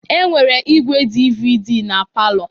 Enwere igwé DVD na palọ.